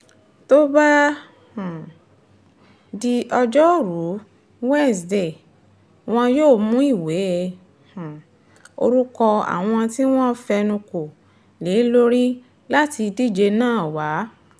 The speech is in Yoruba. tó bá um di ọjọ́rùúwíṣọdẹẹ́ wọn yóò mú ìwé um orúkọ àwọn tí wọ́n fẹnu kò lé lórí láti díje náà wá